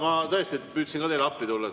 Ma tõesti püüdsin teile appi tulla.